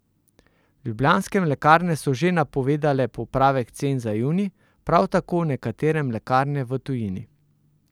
Ljubljanske mlekarne so že napovedale popravek cen za junij, prav tako nekatere mlekarne v tujini.